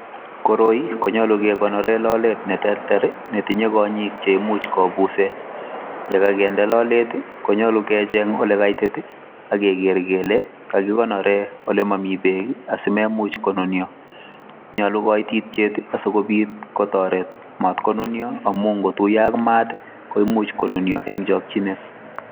Koroi konyalu kekonoren lalet neterter netinye konyik cheimuche kobusen yekakende lolet konyalu kecheng olekaitit ageger Kole akikonoren olemami bek simemuch konunio nyalu kaititiet sikobit kotaret matkonio amatkotiyo a matkoimuch konunio en chakinet